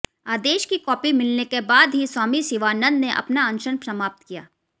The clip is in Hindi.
आदेश की कॉपी मिलने के बाद ही स्वामी शिवानंद ने अपना अनशन समाप्त किया